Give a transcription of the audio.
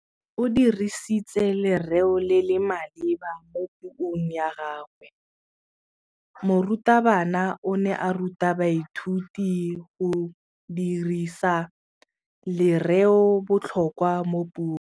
O dirisitse lerêo le le maleba mo puông ya gagwe. Morutabana o ne a ruta baithuti go dirisa lêrêôbotlhôkwa mo puong.